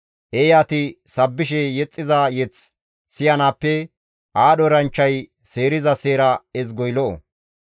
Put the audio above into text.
Eeyati sabbishe yexxiza yeth siyanaappe aadho eranchchay seeriza seera ezgoy lo7o.